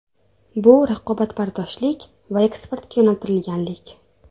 Bu raqobatbardoshlik va eksportga yo‘naltirilganlik.